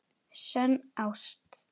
SÖNN ÁST.